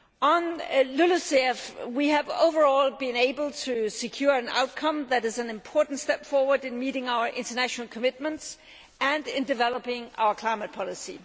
On LULUCF, we have, overall, been able to secure an outcome that is an important step forward in meeting our international commitments and in developing our climate policy.